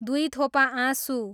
दुईथोपा आँसु